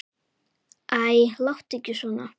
Æ, láttu ekki svona.